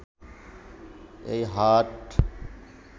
এই হাট